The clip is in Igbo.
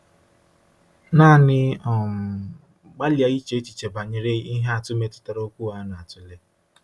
Naanị um gbalịa iche echiche banyere ihe atụ metụtara okwu a na-atụle.